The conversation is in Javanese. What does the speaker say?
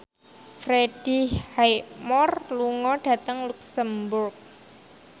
Freddie Highmore lunga dhateng luxemburg